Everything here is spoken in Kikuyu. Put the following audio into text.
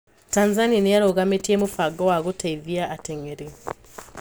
Tanzania niarũgamitie mũbango wa gũteithia ateng'eri